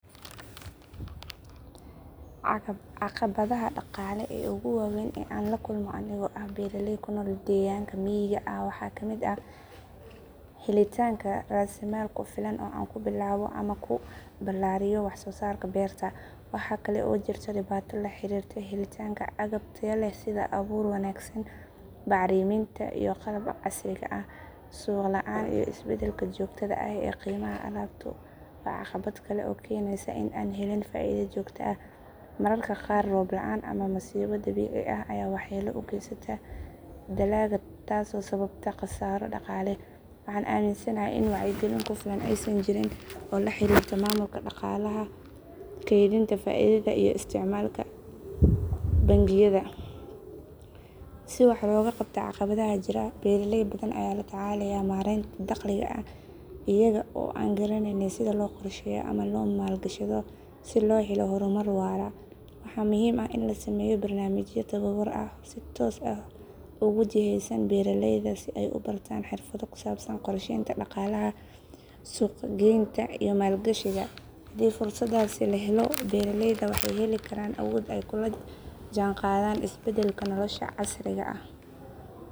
Caqabadaha dhaqaale ee ugu waaweyn ee aan la kulmo anigoo ah beeraley ku nool deegaanka miyiga ah waxaa ka mid ah helitaanka raasamaal ku filan oo aan ku bilaabo ama ku ballaariyo wax soo saarka beerta. Waxaa kale oo jirta dhibaato la xiriirta helitaanka agab tayo leh sida abuur wanaagsan, bacriminta, iyo qalabka casriga ah. Suuq la’aan iyo isbeddelka joogtada ah ee qiimaha alaabtu waa caqabad kale oo keenaysa in aanan helin faa’iido joogto ah. Mararka qaar roob la’aan ama masiibo dabiici ah ayaa waxyeello u geysata dalagga taasoo sababta khasaaro dhaqaale. Waxaan aaminsanahay in wacyigelin ku filan aysan jirin oo la xiriirta maamulka dhaqaalaha, keydinta faa’iidada, iyo isticmaalka bangiyada si wax looga qabto caqabadaha jira. Beeraley badan ayaa la tacaalaya maaraynta dakhliga iyaga oo aan garaneyn sida loo qorsheeyo ama loo maalgashado si loo helo horumar waara. Waxaa muhiim ah in la sameeyo barnaamijyo tababar ah oo si toos ah ugu jihaysan beeraleyda si ay u bartaan xirfado ku saabsan qorsheynta dhaqaalaha, suuq geynta, iyo maalgashiga. Haddii fursadahan la helo, beeraleyda waxay heli karaan awood ay kula jaanqaadaan isbeddelka nolosha casriga ah.